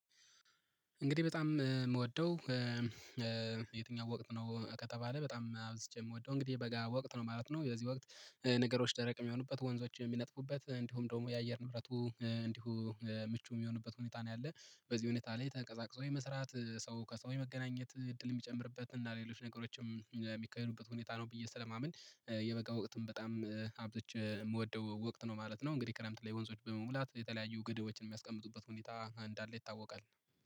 እንግዲህ በጣም የምወደው የትኛው ወቅት ነው? ከተባለ በጣም አብዝቼ የምወደው እንግዲህ በጋ ወቅት ነው ማለት ነው። የዚህ ወቅት ነገሮች ደረቅ የሚሆኑበት ወንዞች የሚነጥፉበት እንዲሁም ደግሞ የአየር ንብረቱ እንዲሁ ምቹ የሚሆንበት ሁኔታ ነው ያለው። በዚህ ሁኔታ ላይ ተቀዛቅዞ የመስራት ሰው ከሰው መገናኘት እድል የሚጨምርበት እና ሌሎች ነገሮችም የሚካሄዱበት ሁኔታ ነው ብዬ ስለማምን የበቃ ወቅትም በጣም አብዛኛው የምወደው ወቅት ነው ማለት ነው። እንግዲህ ክረምት ላይ ወንዞች በመሙላት የተለያዩ ግድቦችን የሚያስቀምጡበት ሁኔታ እንዳለ ይታወቃል